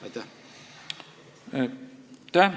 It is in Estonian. Aitäh!